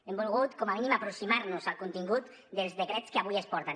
hem volgut com a mínim aproximar nos al contingut dels decrets que avui ens porten